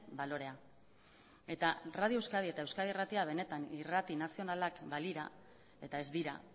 balorea eta radio euskadi eta euskadi irratia benetan irrati nazionalak balira eta ez dira